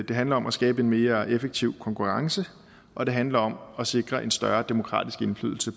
det handler om at skabe en mere effektiv konkurrence og det handler om at sikre en større demokratisk indflydelse